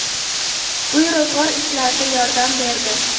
Uy-ro‘zg‘or ishlarida yordam berdi.